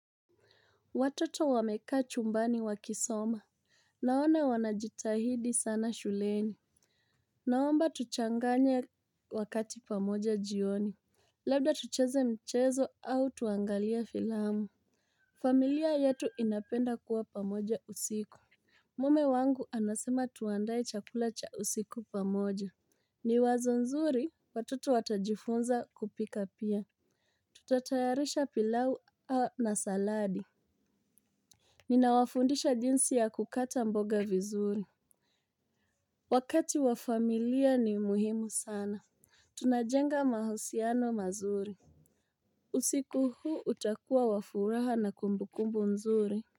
Watoto wameka chumbani wakisoma. Naona wanajitahidi sana shuleni. Naomba tuchanganye wakati pamoja jioni. Labda tucheze michezo au tuangalie filamu. Familia yetu inapenda kuwa pamoja usiku. Mume wangu anasema tuandaye chakula cha usiku pamoja. Ni wazo nzuri, watoto watajifunza kupika pia. Tutatayarisha pilau au na saladi. Ninawafundisha jinsi ya kukata mboga vizuri. Wakati wa familia ni muhimu sana. Tunajenga mahusiano mazuri. Usiku huu utakuwa wa furaha na kumbukumbu mzuri.